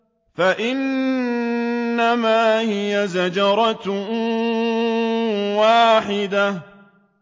فَإِنَّمَا هِيَ زَجْرَةٌ وَاحِدَةٌ